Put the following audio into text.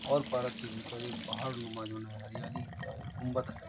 और पार्क के भीतर एक पहाड़ नुमा जून हरियाली का एक गुम्बद है ।